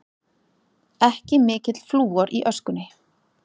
Ekki mikill flúor í öskunni